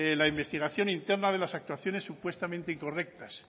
la investigación interna de las actuaciones supuestamente incorrectas